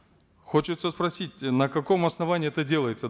хочется спросить на каком основании это делается